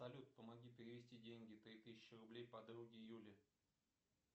салют помоги перевести деньги три тысячи рублей подруге юле